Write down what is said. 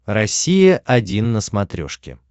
россия один на смотрешке